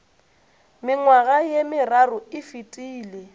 mengwaga ye meraro e fetile